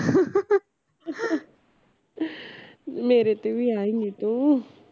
ਮੇਰੇ ਤੇ ਵੀ ਆਏਗੀ ਤੂੰ